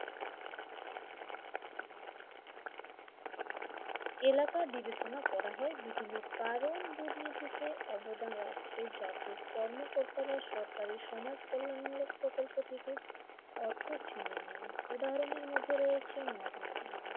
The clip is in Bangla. এলাকা বিবেচনা করা হয় বিভিন্ন কারণ দুর্নীতিতে অবদান রাখে যাতে কর্মকর্তারা সরকারি সমাজ কল্যাণ মূলক প্রকল্প থেকে অর্থ ছিনিয়ে নেয় উদাহরণের মধ্যে রয়েছে মহাত্মা গান্ধী।